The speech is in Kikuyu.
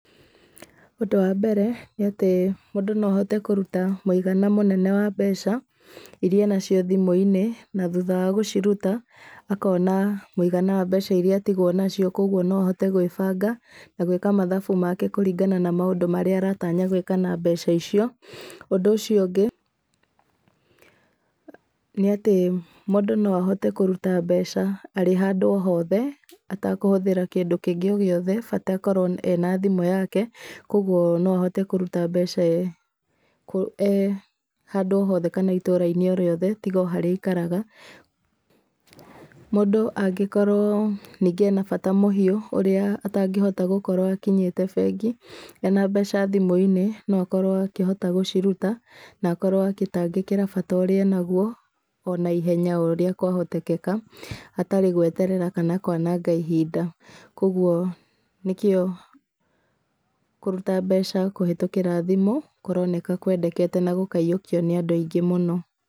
Ũndũ wa mbere, nĩ atĩ ũndũ no ahote kũruta mũigana mũnene wa mbeca, iria enacio thimũ-inĩ, na thutha wa gũciruta, akona mũigana wa mbeca iria atigwo nacio koguo no ahote gwĩbanga, na gwĩka mathabu make kũringana na maũndũ marĩa aratanya gwĩka na mbeca icio. Ũndũ ũcio ũngĩ nĩ atĩ mũndũ no ahote kũruta mbeca arĩ o handũ o hothe, atakũhũthĩra kĩndũ kĩngĩ o gĩothe, bata akorwo ena thimũ yake, koguo no ahote kũruta mbeca e handũ o hothe kana itũra-inĩ o rĩothe tiga o harĩa aikaraga. Mũndũ angĩkorwo ningĩ ena bata mũhiũ, ũrĩa atangĩhota gũkorwo akinyĩte bengi, ena mbeca thimũ-inĩ, no akorwo akĩhota gũciruta, na akorwo agĩtangĩkĩra bata ũrĩa enaguo o naihenya o ũrĩa kwahoteka, hatarĩ gweterera kana kwananga ihinda, koguo nĩkĩo kũruta mbeca kũhĩtũkĩra thimũ, kũroneka kwendekete na gũkaiyũkio nĩ andũ aingĩ mũno.